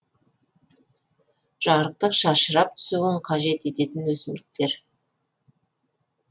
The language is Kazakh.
жарықтық шашырап түсуін қажет ететін өсімдіктер